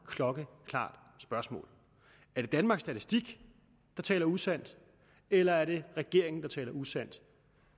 klokkeklart spørgsmål er det danmarks statistik der taler usandt eller er det regeringen der taler usandt